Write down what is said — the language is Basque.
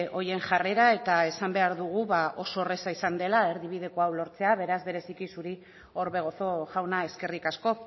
horien jarrera eta esan behar dugu oso erraza izan dela erdibideko hau lortzeko beraz bereziki zuri orbegozo jauna eskerrik asko